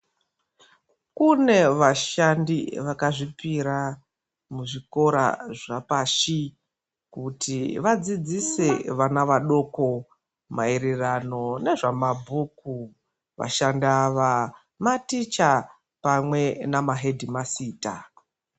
Kune vashandi vakazvipira muzvikora zvapashi kuti vadzidzise vana vadoko maererano nezvemabhuku vashandi ava maticha pamwe nemahedhimasita.